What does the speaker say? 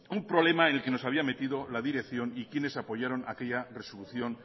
un problema en el que nos había metido la dirección y quienes apoyaron aquella resolución